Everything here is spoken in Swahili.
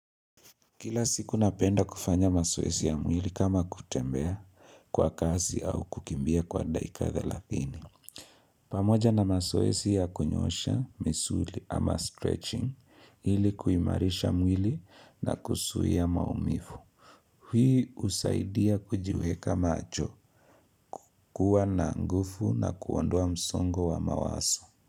Kila siku napenda kufanya mazoezi ya mwili kama kutembea kwa kazi au kukimbia kwa daika thelathini. Pamoja na mazoezi ya kunyoosha, misuli ama stretching, hili kuimarisha mwili na kuzuia maumivu. Hii husaidia kujiweka macho, kuwa na nguvu na kuondoa msongo wa mawazo.